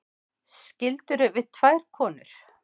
Skildirðu við tvær konur?